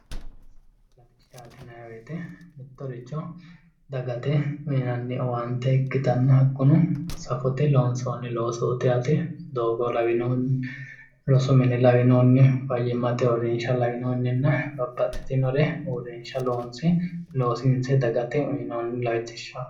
Safote latishsha:- mittorricho dagate yiinanni owaante ikitanna hakunosafote loonsoonni losootti yaate qoleno doogo lawinohunni rosu mine lawinohunni fayimate uurinshsha lawinohunninna babaxitino uurinshsha loosiininse dagate uuyinoonnilatishaati